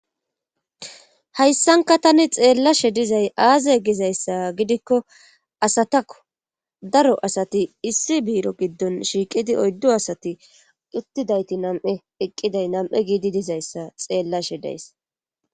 hayssanka tani xeellashe dizay aaze gizayssa gidikko asatakko daro asati issi biiro giddon shiiqidi oyddo asati uttidayti nam7e eqqiday nam7e giidi dizayssa xeellashe days